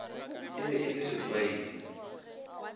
e be e le setlwaedi